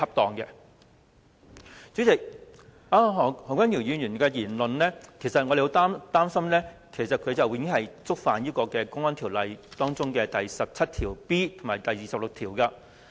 代理主席，何君堯議員的言論，令我們十分擔心，他已經觸犯《公安條例》第 17B 條和第26條。